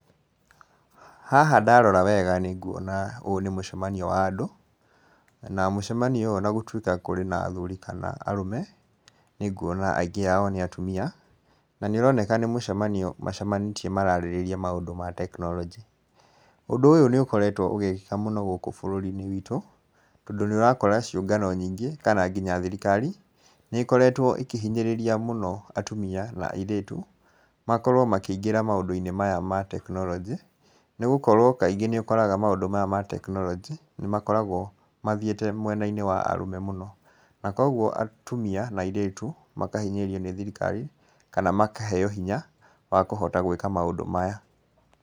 Haha ndarora wega nĩnguona ũyũ nĩ mucemanio wa andũ. Na mucemanio ũyũ ona gũtwĩka kũrĩ na athuri kana arũme, nĩnguona aingĩ ao nĩ atumia. Na nĩũroneka nĩ mucemanio macemanĩtie mararĩrĩria maũndũ ma tekinoronjĩ. Ũndũ ũyũ nĩũkoretwo ũgĩkĩka mũno gũkũ bũrũriinĩ wĩtũ. Tondũ nĩũrakora ciũngano nyingĩ kana thirikarĩ, nĩikoretwo ikĩhinyĩrĩria mũno atumia na airĩtu makorwo makĩingĩra maũndũ-inĩ maya ma tekinoronjĩ. Nĩ gũkorwo kaingĩ nĩ ũkoraga maũndũ maya ma tekinoronjĩ, nĩmakoragwo mathiĩte mwenainĩ wa arũme mũno. Na kũoguo atumia na airĩtu makahinyĩrĩrio nĩ thirikari, kana makaheo hinya wa kũhota gwĩka maũndũ maya.